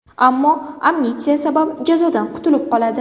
Ammo amnistiya sabab jazodan qutilib qoladi.